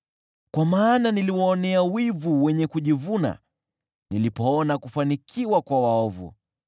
Kwa maana niliwaonea wivu wenye kujivuna nilipoona kufanikiwa kwa waovu.